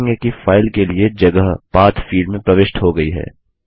आप देखेंगे कि फाइल के लिए जगहPath फील्ड में प्रविष्ट हो गई है